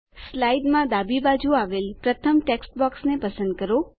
સ્લાઇડમાં ડાબી બાજું આવેલ પ્રથમ ટેક્સ્ટ બોક્સને પસંદ કરો